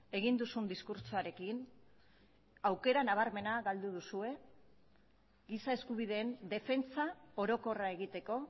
egin duzun diskurtsoarekin aukera nabarmena galdu duzue giza eskubideen defentsa orokorra egiteko